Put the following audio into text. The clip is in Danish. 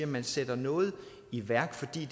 man sætter noget i værk fordi